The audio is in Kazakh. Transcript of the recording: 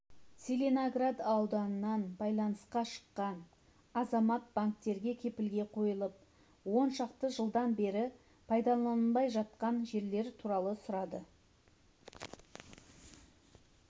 целиноград ауданынан байланысқа шыққан азамат банктерге кепілге қойылып оншақты жылдан бері пайдаланылмай жатқан жерлер туралы сұрады